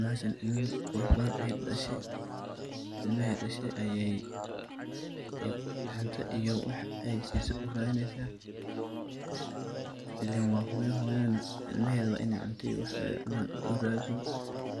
Bahashaan ilma qurux badan aye dadashe, ilmihi ay dashe aye cunto iyo waax aysiso uradineysa, ilen wa hooyo hooyada naa ilmeheda wa iney cunto iyo waax ay cunaan uradiso,